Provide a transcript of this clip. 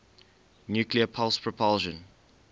nuclear pulse propulsion